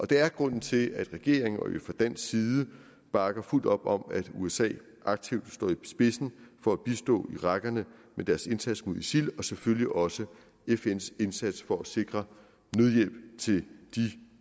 det er grunden til at regeringen og vi fra dansk side bakker fuldt op om at usa aktivt står i spidsen for at bistå i rækkerne med deres indsats mod isil og selvfølgelig også fns indsats for at sikre nødhjælp til de